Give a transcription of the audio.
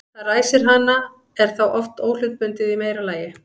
það sem ræsir hana er þá oft óhlutbundið í meira lagi